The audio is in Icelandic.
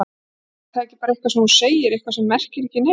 Er það ekki bara eitthvað sem þú segir, eitthvað sem merkir ekki neitt?